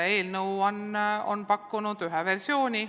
Eelnõu on pakkunud ühe versiooni.